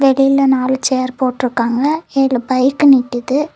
வெளில நாலு சேர் போட்டுருக்காங்க ஏழு பைக்கு நிக்குது.